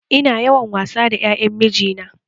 Ina yawan wasa da ƴaƴan mijina